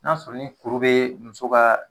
N'a sɔrɔ ni kuru bee muso kaa